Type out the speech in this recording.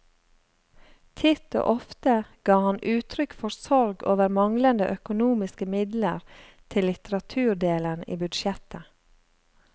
Titt og ofte ga han uttrykk for sorg over manglende økonomiske midler til litteraturdelen i budsjettet.